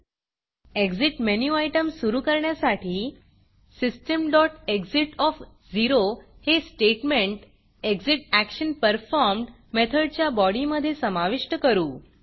Exitएग्ज़िट menu item सुरू करण्यासाठी systemएक्सिट हे स्टेटमेंट ExitActionPerformed मेथडच्या बॉडीमधे समाविष्ट करू